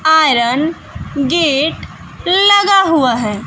Iron gate लगा हुआ है।